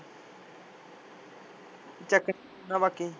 ਚੱਕ ਲੈਂਦਾ ਬਾਕੀ